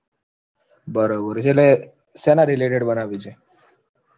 બરોબર છે એટલે શેના Related બનાવવી છે